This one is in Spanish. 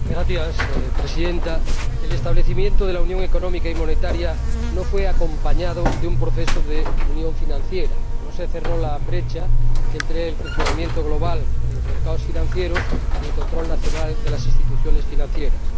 Señora Presidenta, el establecimiento de la Unión Económica y Monetaria no fue acompañado de un proceso de unión financiera, no se cerró la brecha entre el funcionamiento global de los mercados financieros y el control nacional de las instituciones financieras.